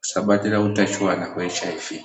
tisabatira utachiwana hweshuramatongo.